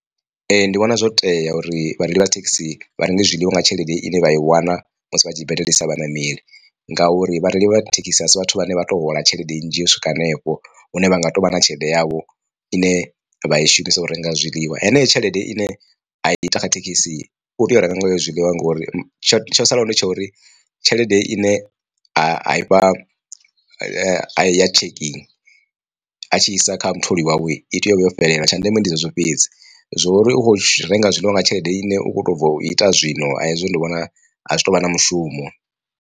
Ee ndi vhona zwo tea uri vhareili vha thekhisi vha renge zwiḽiwa nga tshelede ine vha i wana musi vha tshi badelisa vhaṋameli ngauri vhareili vha thekhisi a si vhathu vhane vha to hola tshelede nnzhi u swika hanefho hune vha nga to vha na tshelede yavho ine vha i shumisa u renga zwiḽiwa. Heneyo tshelede ine a i ta kha thekhisi u tea u renga nga yo zwiḽiwa ngori tsho tsho sala hone tsho uri tshelede ine ha i fha ya checkin a tshi isa kha mutholi wawe i tea u vha yo fhelela tsha ndeme. Ndi zwezwo fhedzi zwo ri ukho renga zwiḽiwa nga tshelede ine u kho to bva u ita zwino a hezwo ndi vhona a zwi tu vha na mushumo.